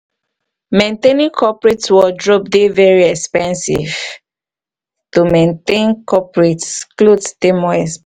maintaining coperate wordrobe dey de very expensive to maintain coperate cloth dey more expensive